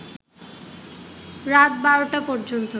রাত ১২টা পর্যন্ত